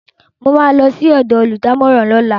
Mo ma lọ sí ọ̀dọ̀ olùdámọ̀ràn lọ́la